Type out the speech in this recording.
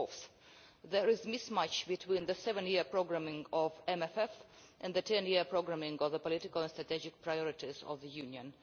Fourth, there is a mismatch between the 7-year programming of the MFF and the 10 year programming of the political and strategic priorities of the Union.